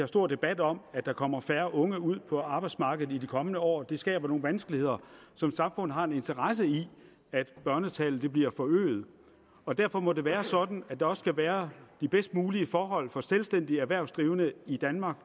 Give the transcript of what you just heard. stor debat om at der kommer færre unge ud på arbejdsmarkedet i de kommende år og det skaber nogle vanskeligheder så samfundet har en interesse i at børnetallet bliver forøget og derfor må det være sådan at der også skal være de bedst mulige forhold for selvstændige erhvervsdrivende i danmark